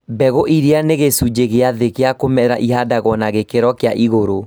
Mbegũ iria nĩ gĩcunjĩ kĩa thĩ gĩa kũmera nĩihandagwo na gĩkĩro kĩa igũrũ